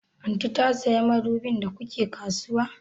Aunty ta saya madubin da ku ke kasuwa?